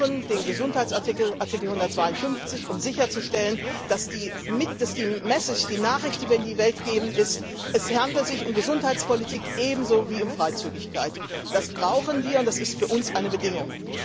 Wir brauchen den Gesundheitsartikel, Artikel 152, um sicherzustellen, dass die Nachricht, die wir in die Welt geben, lautet Es handelt sich um Gesundheitspolitik ebenso wie um Freizügigkeit. Das brauchen wir, und das ist für uns eine Bedingung.